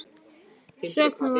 Söknuðu Valskonur hennar?